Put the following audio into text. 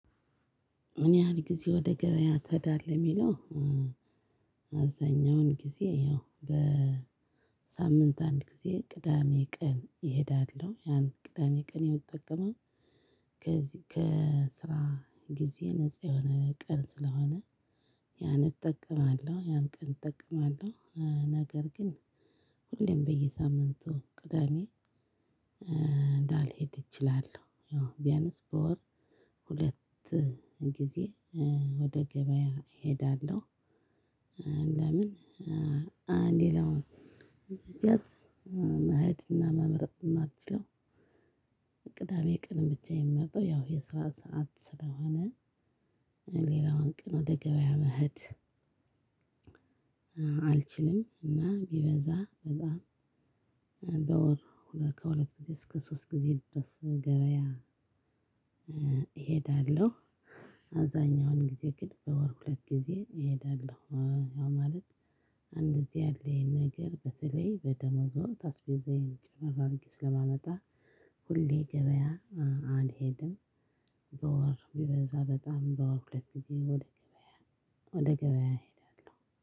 ምን ያህል ግዜ ወደ ገበያ ትሄዳለህ የሚለው? አብዛኛውን ጊዜ ያው በሳምንት አንድ ጊዜ ቅዳሜ ቀን ይሄዳለው ያን ቅዳሜ ቀን የምጠቀመው። ከዚህ ከስራ ግዜ ነፃ የሆነ ቀን ስለሆነ። ያን እጠቀማለው ያን ቀን እጠቀማለው። ነገር ግን ሁሌም በየሳምንቱ ቅዳሜ። ላልሄድ እችላለው ያው ቢያንስ በወር ሁለት ግዜ አንድ ሌላው ግዚያት መሄድና መምረጥ ማችለው። ቅዳሜ ቀንን ብቻ የሚመጣው ያው የስራ ሰዓት ስለሆነ። ሌላውን ቅን ወደ ገበያ መሄድ አልችልም። እና ቢበዛ በዛ በወር ሁለት ከሁለት ጊዜ እስከ ሶስት ጊዜ ድረስ ገበያ እሄዳለሁ። አብዛኛውን ግዜ ግን በወር ሁለት ጊዜ እሄዳለሁ። ያ ማለት አንድ እዚህ ያለኝ ነገር በተለይ በደሞዝ ወቅት አስቤዛዬን ጨመር አድርጌ ስለማመጣ ሁሌ ገበያ አልሄድም። በወር ቢበዛ በጣም በወር ሁለት ጊዜ ወደ ገበያ ወደ ገበያ እሄዳለሁ